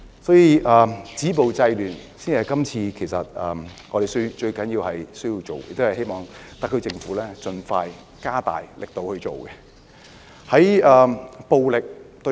所以，止暴制亂才是特區政府現時最需要做的工作，亦希望政府盡快加大力度處理此事。